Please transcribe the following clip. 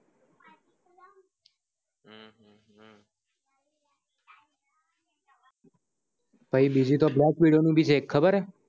પછી બીજી તો black widow નું પણ છે ખબર છે